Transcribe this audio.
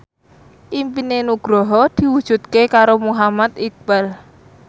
impine Nugroho diwujudke karo Muhammad Iqbal